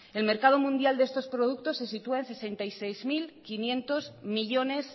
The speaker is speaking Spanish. el mercado mundial de estos productos se sitúa en sesenta y seis mil quinientos millónes